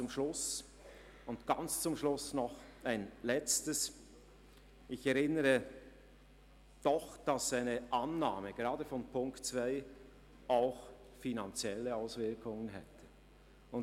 Zum Schluss erinnere ich, dass eine Annahme gerade von Ziffer 2 auch finanzielle Auswirkungen hätte.